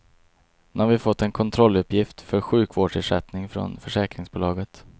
Nu har vi fått en kontrolluppgift för sjukvårdsersättning från försäkringsbolaget.